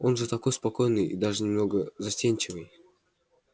он же такой спокойный и даже немного застенчивый